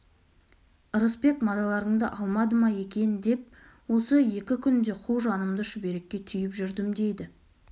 ырысбек мазаларыңды алмады ма екен деп осы екі күнде қу жанымды шүберекке түйіп жүрдім дейді